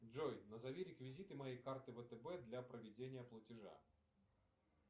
джой назови реквизиты моей карты втб для проведения платежа